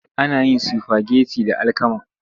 Ana yin sifageti da alkama.